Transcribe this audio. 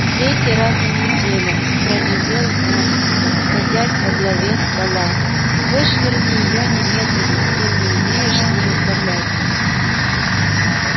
третий раз за неделю проревел он садясь во главе стола вышвырни её немедленно коль не умеешь с ней управляться